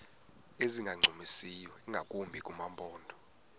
ezingancumisiyo ingakumbi kumaphondo